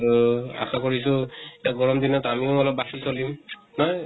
আৰু আশা কৰিছো, এতিয়া গৰম দিনত আমি ও অলপ বাছি চলিম । নহয় ?